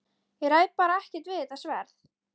Ég ræð bara ekkert við þetta sverð!